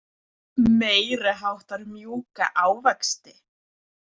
Meiriháttar mjúka ávexti.